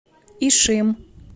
ишим